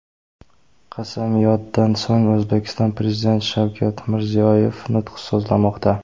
Qasamyoddan so‘ng, O‘zbekiston Prezidenti Shavkat Mirziyoyev nutq so‘zlamoqda.